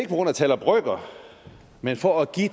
grund af tal og brøker men for at give